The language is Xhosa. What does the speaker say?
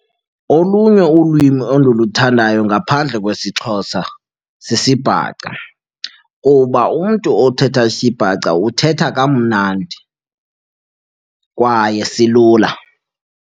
Olunye ulwimi endiluthandayo ngaphandle kwesiXhosa sisiBhaca kuba umntu othetha isiBhaca uthetha kamnandi kwaye silula.